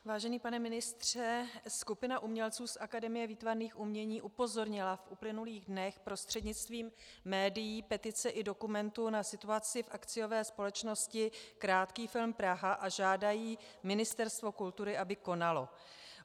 Vážený pane ministře, skupina umělců z Akademie výtvarných umění upozornila v uplynulých dnech prostřednictvím médií, petice i dokumentů na situaci v akciové společnosti Krátký film Praha a žádají Ministerstvo kultury, aby konalo.